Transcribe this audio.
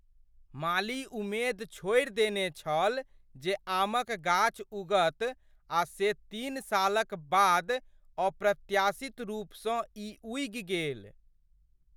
माली उमेद छोड़ि देने छल जे आमक गाछ उगत आ से तीन सालक बाद अप्रत्याशित रूपसँ ई उगि गेल।